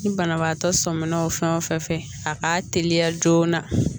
Ni banabaatɔ sɔminna fɛn o fɛn fɛ a k'a teliya joona